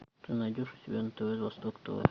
ты найдешь у себя на тв восток тв